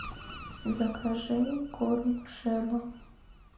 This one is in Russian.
закажи корм шеба